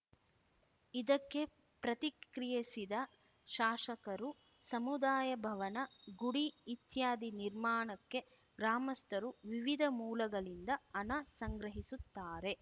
ಇದಕ್ಕೆ ಪ್ರತಿಕ್ರಿಯಿಸಿದ ಶಾಸಕರು ಸಮುದಾಯ ಭವನ ಗುಡಿ ಇತ್ಯಾದಿ ನಿರ್ಮಾಣಕ್ಕೆ ಗ್ರಾಮಸ್ಥರು ವಿವಿಧ ಮೂಲಗಳಿಂದ ಹಣ ಸಂಗ್ರಹಿಸುತ್ತಾರೆ